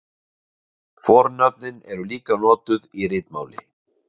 Fornöfnin eru líka notuð í ritmáli.